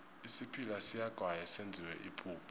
isiphila siyagaywa senziwe ipuphu